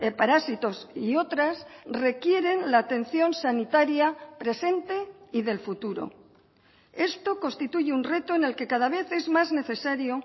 parásitos y otras requieren la atención sanitaria presente y del futuro esto constituye un reto en el que cada vez es más necesario